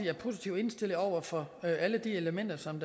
er positivt indstillet over for alle de elementer som